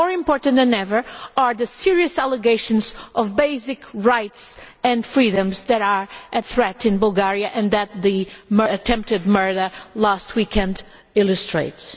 More important than ever are the serious allegations of basic rights and freedoms that are under threat in Bulgaria, as the attempted murder last weekend illustrates.